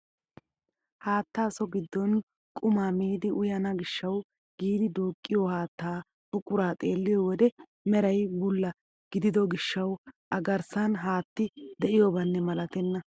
Haattaa so giddon qumaa miidi uyana giishshawu giidi duuqiyoo haattaa buquraa xeelliyoo wode meray bulla gidido gishshawu a garssan haatti de'iyobanne malatenna!